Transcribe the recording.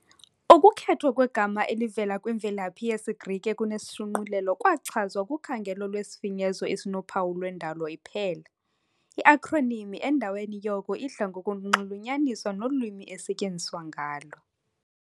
Ukukhethwa kwegama elivela kwimvelaphi yesiGrike kunesishunqulelo kwachazwa kukhangelo lwesifinyezo esinophawu lwendalo iphela, i-akhronimi endaweni yoko idla ngokunxulunyaniswa nolwimi esetyenziswa ngalo.